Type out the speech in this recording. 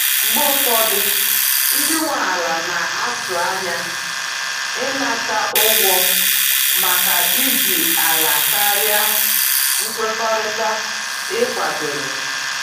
Mgbe ụfọdụ, ndị nwe ala na-atụ anya ịnata ụgwọ maka iji ala karịa nkwekọrịta e kwadoro.